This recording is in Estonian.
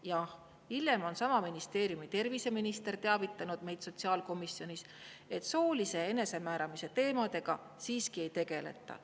Jah, hiljem on sama ministeeriumi terviseminister teavitanud meid sotsiaalkomisjonis, et soolise enesemääramise teemadega siiski ei tegeleta.